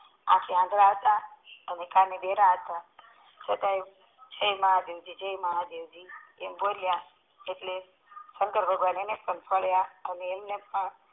આખે આંધળા અને કાને બેરા હતા છતાંય હે મહાદેવ જાય મહાદેવ એમ બોલિયાં એટલે શંકર ભગવાન એને ફળીયા અને એમને પણ